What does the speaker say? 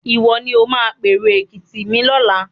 Ìwọ ni ó máa pèrò Èkìtì mi lọ́la.